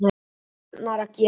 Taugarnar að gefa sig.